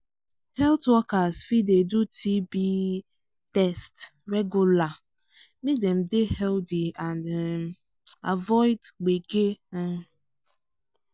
health workers fit dey do tb um test regular make dem dey healthy and um avoid gbege. um